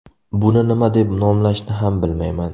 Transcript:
Buni nima deb nomlashni ham bilmayman.